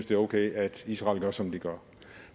det er okay at israel gør som de gør